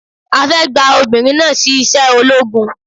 A fẹ́ gba obìnrin náà sí iṣẹ́ ológun